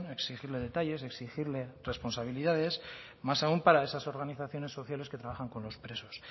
exigirle detalles exigirle responsabilidades más aún para estas organizaciones sociales que trabajan con los presos